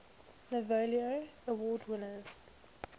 novello award winners